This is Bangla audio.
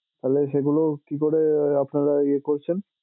তাহলে সেগুলো কিকরে আপনারা ইয়ে করছেন?